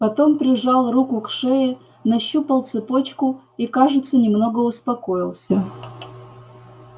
потом прижал руку к шее нащупал цепочку и кажется немного успокоился